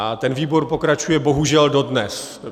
A ten výbor pokračuje bohužel dodnes.